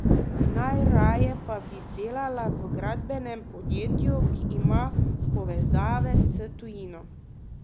Najraje pa bi delala v gradbenem podjetju, ki ima povezave s tujino.